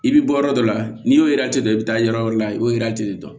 I bɛ bɔ yɔrɔ dɔ la n'i y'o dɔ bɛ taa yɔrɔ la i y'o de dɔn